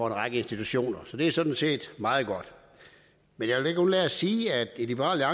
en række institutioner så det er sådan set meget godt men jeg vil ikke undlade at sige at i liberal